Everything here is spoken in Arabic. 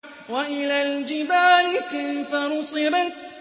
وَإِلَى الْجِبَالِ كَيْفَ نُصِبَتْ